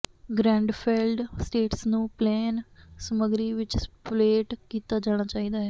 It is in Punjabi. ਗ੍ਰੈਂਡਫੈੱਲਡ ਸਟੇਟਸ ਨੂੰ ਪਲੈਨ ਸਮਗਰੀ ਵਿਚ ਸਪਲੇਟ ਕੀਤਾ ਜਾਣਾ ਚਾਹੀਦਾ ਹੈ